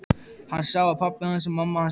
Hann sá að pabbi hans og mamma skemmtu sér vel.